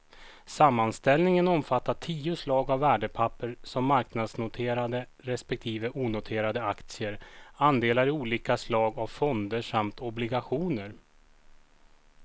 Sammanställningen omfattar tio slag av värdepapper som marknadsnoterade respektive onoterade aktier, andelar i olika slag av fonder samt obligationer.